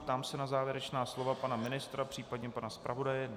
Ptám se na závěrečná slova pana ministra, příp. pana zpravodaje.